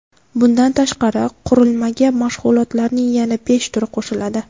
Bundan tashqari, qurilmaga mashg‘ulotlarning yana besh turi qo‘shiladi.